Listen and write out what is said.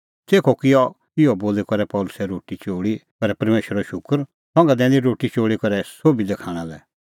तेखअ किअ इहअ बोली करै पल़सी रोटी चोल़ी करै परमेशरो शूकर और रोटी चोल़ी करै दैनी सोभी लै खाणां लै